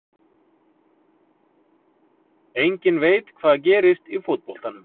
Enginn veit hvað gerist í fótboltanum.